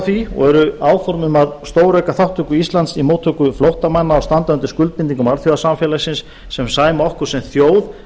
því og eru áform um að stórauka þátttöku íslands í móttöku flóttamanna á standandi skuldbindingum alþjóðasamfélagsins sem sæma okkur sem þjóð